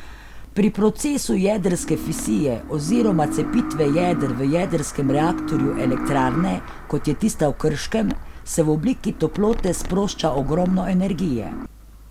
Pri procesu jedrske fisije oziroma cepitve jeder v jedrskem reaktorju elektrarne, kot je tista v Krškem, se v obliki toplote sprošča ogromno energije.